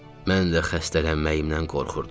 Mən də xəstələnməyimdən qorxurdum.